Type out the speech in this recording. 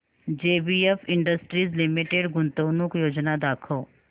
JBF industries limited गुंतवणूक योजना दाखव